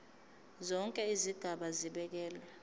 zonke izigaba zibekelwe